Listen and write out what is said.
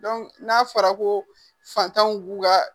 n'a fɔra ko fantanw b'u ka